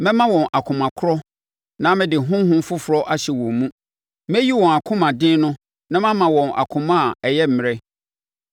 Mɛma wɔn akoma korɔ na mede honhom foforɔ ahyɛ wɔn mu; mɛyi wɔn akomaden no na mama wɔn akoma a ɛyɛ mmrɛ.